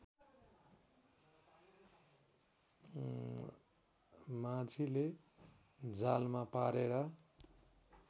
माझीले जालमा पारेर